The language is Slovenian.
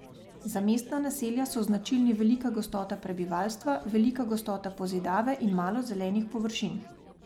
Za mestna naselja so značilni velika gostota prebivalstva, velika gostota pozidave in malo zelenih površin.